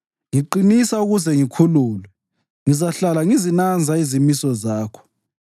Ngiqinisa ukuze ngikhululwe; ngizahlala ngizinanza izimiso zakho.